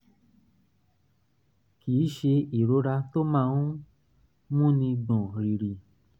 kì í ṣe ìrora tó máa ń um múni gbọ̀n rìrì